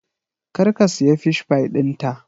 Kar ka siya Fish pie ɗinta!